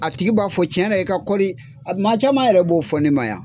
A tigi b'a fɔ cɛnna i ka kɔri maa caman yɛrɛ b'o fɔ ne ma yan.